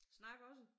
Snak også?